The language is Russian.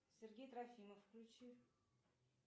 сергей трофимов включи